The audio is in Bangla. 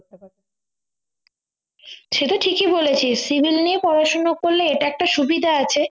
সেটা ঠিকই বলেছিস civil নিয়ে পড়াশোনা করলে এটা একটা সুবিধা আছে